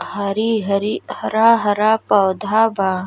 हरी हरी हरा हरा पौधा बा।